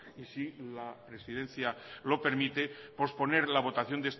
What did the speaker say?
y si la presidencia lo permite posponer la votación